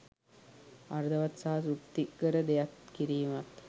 අර්ථවත් සහ තෘප්තිකර දෙයක් කිරීමත්